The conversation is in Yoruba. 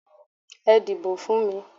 Ẹ dìbò fún mi!